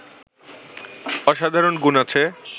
অসাধারণ গুণ আছে